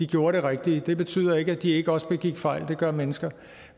gjorde det rigtige det betyder ikke at de ikke også begik fejl det gør mennesker